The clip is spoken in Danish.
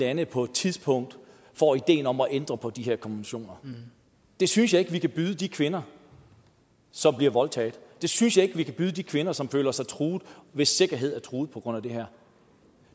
lande på et tidspunkt får ideen om at ændre på de her konventioner det synes jeg ikke vi kan byde de kvinder som bliver voldtaget det synes jeg ikke vi kan byde de kvinder som føler sig truet og hvis sikkerhed er truet på grund af det her